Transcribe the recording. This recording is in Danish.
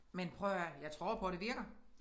Men prøv at høre her jeg tror på det virker